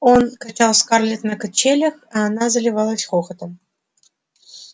он качал скарлетт на качелях и она заливалась хохотом